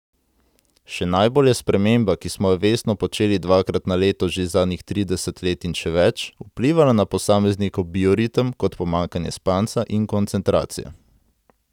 Še najbolj je sprememba, ki smo jo vestno počeli dvakrat na leto že zadnjih trideset let in še več, vplivala na posameznikov bioritem kot pomanjkanje spanca in koncentracije.